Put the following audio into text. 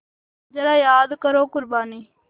ज़रा याद करो क़ुरबानी